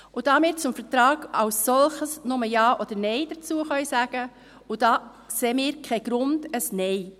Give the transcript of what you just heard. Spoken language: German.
Da wir zum Vertrag als solchen nur Ja oder Nein sagen können, sehen wir keinen Grund für ein Nein.